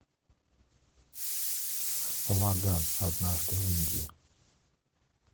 лагаан однажды в индии